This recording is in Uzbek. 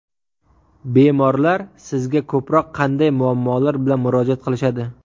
Bemorlar sizga ko‘proq qanday muammolar bilan murojaat qilishadi?